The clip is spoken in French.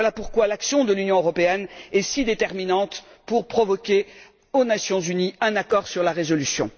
Voilà pourquoi l'action de l'Union européenne est si déterminante pour forcer, aux Nations unies, un accord sur la résolution.